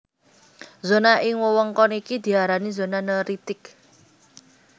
Zona ing wewengkon iki diarani zona neritik